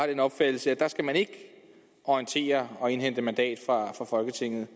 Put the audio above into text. den opfattelse at der skal man ikke orientere og indhente mandat fra folketinget